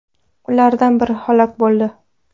Ulardan biri halok bo‘ldi.